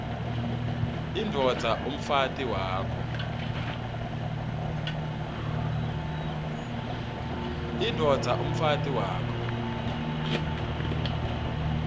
indvodza umfati wakho